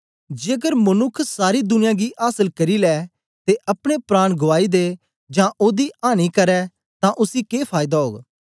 जेकर मनुक्ख सारी दुनिया गी आसल करी लै ते अपने प्राण गुआई दे जां ओदी आनी करै तां उसी के फायदा ओग